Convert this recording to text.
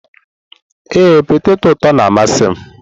Ee, peteto ụtọ na-amasị m.